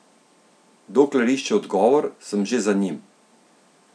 Dokler išče odgovor, sem že za njim.